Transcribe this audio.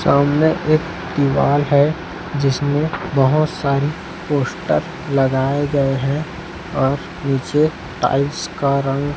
सामने एक दीवाल है जिसमें बहोत सारी पोस्टर लगाए गए हैं और नीचे टाइल्स का रंग--